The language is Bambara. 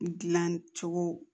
Dilancogo